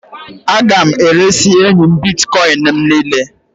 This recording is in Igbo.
A ga m eresị enyi m Bịtkọin m niile